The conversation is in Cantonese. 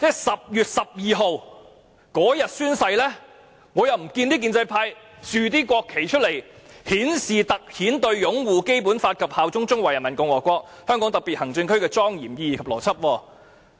10月12日宣誓當天，我看不到建制派豎立國旗以突顯"對擁護《基本法》及效忠中華人民共和國香港特別行政區的莊嚴意義及承諾"。